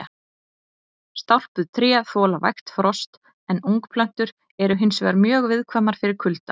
Stálpuð tré þola vægt frost en ungplöntur eru hins vegar mjög viðkvæmar fyrir kulda.